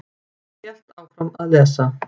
Ég hélt áfram að lesa.